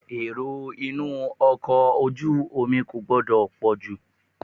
Èrò inú ọkọ̀ ojú omi kò gbọdọ̀ pọ̀ jù.